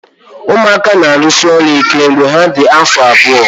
Ụmụaka na-arụsi ọrụ ike mgbe ha dị afọ abụọ